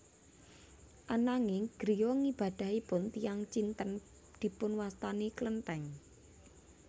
Ananging griya ngibadahipun tiyang Cinten dipunwastani klenthèng